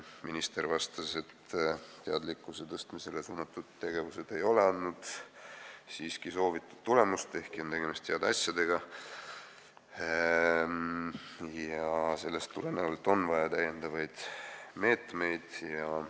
Minister vastas, et teadlikkuse tõstmiseks mõeldud tegevused ei ole andnud siiski soovitud tulemust, ehkki on tegemist heade asjadega, ja sellest tulenevalt on vaja lisameetmeid.